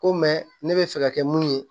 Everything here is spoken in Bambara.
Ko mɛ ne bɛ fɛ ka kɛ mun ye